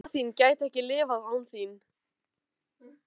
Amma þín gæti ekki lifað án þín.